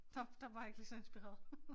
Der der var jeg ikke lige så inspireret